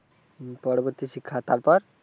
পরবর্তী শিক্ষা, তারপর,